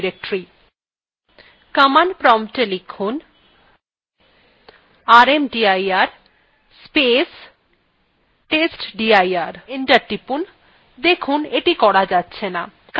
enter টিপুন